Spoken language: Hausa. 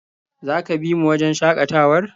Za ka bi mu wajen shakatawar?